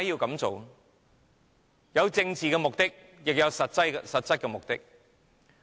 既有政治目的，也有實質目的。